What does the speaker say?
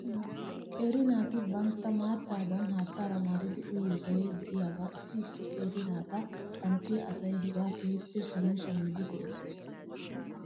Qeeri naati bantta maattaadan haattara maaridi uyiyoogee de'iyaagaa issi issi qeera naata xanttiyaa asay hegaa keehippe shammi shammidi go'ettes .